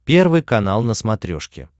первый канал на смотрешке